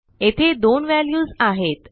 येथे दोन व्हॅल्यूज आहेत